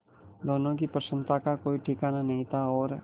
दोनों की प्रसन्नता का कोई ठिकाना नहीं था और